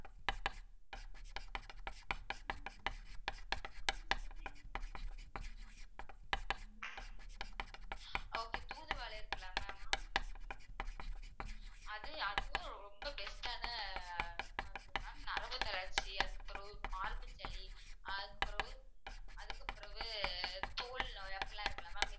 okay தூதுவளை இருக்குல்ல ma'am அது அதுவும் ரொம்ப best ஆன மருந்து ma'am நரம்புத்தளர்ச்சி அதுக்கு அப்புறம் மார்பு சளி அதுக்கு அப்புறம் அதுக்குப் பிறகு தோல் நோய் அப்படிலாம் இருக்குல்ல ma'am